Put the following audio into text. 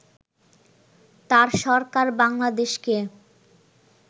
তাঁর সরকার বাংলাদেশকে